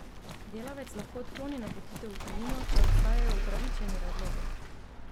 Delavec lahko odkloni napotitev v tujino, če obstajajo opravičeni razlogi.